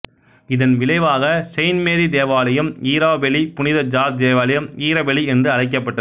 இதன் விளைவாக Saint Mary தேவாலயம் ஈராபெலி புனித ஜார்ஜ் தேவாலயம் ஈரபெலி என்று அழைக்கபட்டது